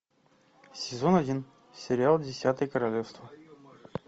сезон один сериал десятое королевство